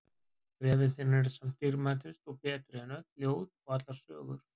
Bréfin þín eru samt dýrmætust og betri en öll ljóð og allar sögur.